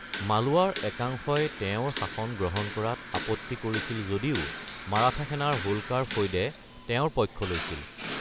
মালোৱাৰ একাংশই তেওঁৰ শাসন গ্ৰহণ কৰাত আপত্তি কৰিছিল যদিও মাৰাঠা সেনাৰ হোলকাৰ ফৈদে তেওঁৰ পক্ষ লৈছিল।